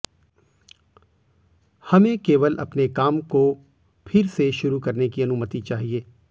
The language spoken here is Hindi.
हमें केवल अपने काम को फिर से शुरू करने की अनुमति चाहिए